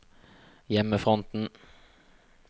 hjemmefronten